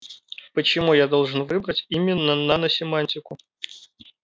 почему я должен выбрать именно наносемантику